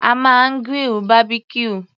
A máa grill Barbecue.